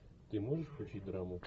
ты можешь включить драму